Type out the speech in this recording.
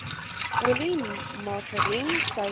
olie margarien suiker